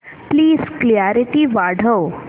please clarity वाढव